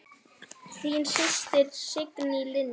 Þín systir, Signý Lind.